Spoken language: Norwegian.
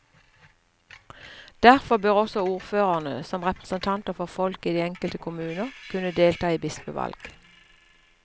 Derfor bør også ordførerne, som representanter for folket i de enkelte kommuner, kunne delta i bispevalg.